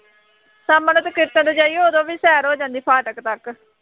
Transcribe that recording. ਸ਼ਾਮਾਂ ਨੂੰ ਫੇਰ ਕੀਰਤਨ ਨੂੰ ਜਾਈਏ, ਉਦੋਂ ਵੀ ਸੈਰ ਹੋ ਜਾਂਦੀ ਹੈ ਫਾਟਕ ਤੱਕ